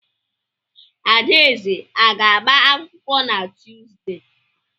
Adaeze a ga-agba akwụkwọ na Tuuzdee?